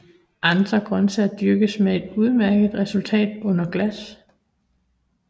Andre grøntsager dyrkes med et udmærket resultat under glas